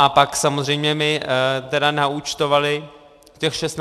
A pak samozřejmě mi tedy naúčtovali těch 16 korun.